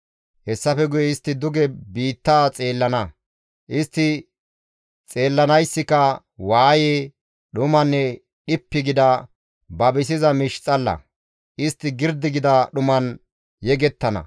Hessafe guye istti duge biitta xeellana; istti xeellanayssika waaye, dhumanne dhippi gida babisiza miish xalla; istti girdi gida dhuman yegettana.